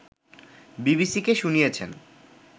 বিবিসিকে শুনিয়েছেন